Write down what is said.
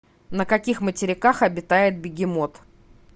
на каких материках обитает бегемот